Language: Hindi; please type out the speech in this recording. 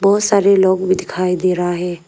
बहुत सारे लोग भी दिखाई दे रहा है।